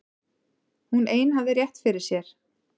Hún ein hafði rétt fyrir sér.